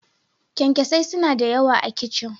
Kyankyasai suna da yawa a kicin.